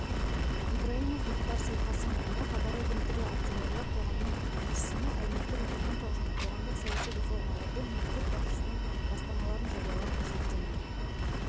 ибраймов мұхтар сейтқасымұлына хабар агенттігі акционерлік қоғамының тілшісіне әлеуметтік-экономикалық және қоғамдық-саяси реформаларды мемлекет басшысының бастамаларын жариялап-көрсеткені